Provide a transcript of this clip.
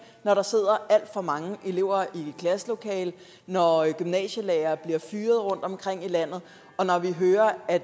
når der sidder alt for mange elever i klasselokalerne når gymnasielærere bliver fyret rundtomkring i landet og når vi hører at